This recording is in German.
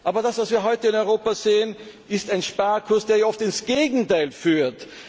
Aber das, was wir heute in Europa sehen, ist ein Sparkurs, der oft ins Gegenteil führt.